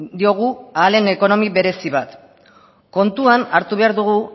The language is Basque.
diogu ahal den ekonomia berezi bat kontuan hartu behar dugu